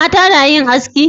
Mata na yin haski?